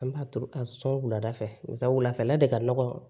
An b'a turu a sɔn wulada fɛla de ka nɔgɔn